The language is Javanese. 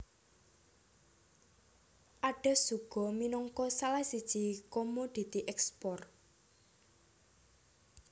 Adas uga minangka salah siji komoditi ekspor